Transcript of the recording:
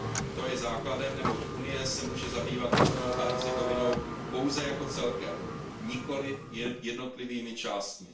To je základem, neboť Unie se může zabývat Bosnou a Hercegovinou pouze jako celkem, nikoliv jednotlivými částmi.